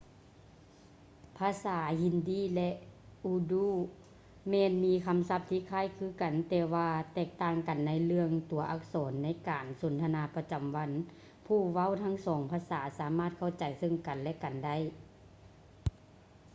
ພາສາຮິນດີ hindi ແລະ ອູດູ urdu ແມ່ນມີຄຳສັບທີ່ຄ້າຍຄືກັນ ແຕ່ວ່າແຕກຕ່າງກັນໃນເລື່ອງຕົວອັກສອນ; ໃນການສົນທະນາປະຈຳວັນ ຜູ້ເວົ້າທັງສອງພາສາສາມາດເຂົ້າໃຈເຊິ່ງກັນ ແລະ ກັນໄດ້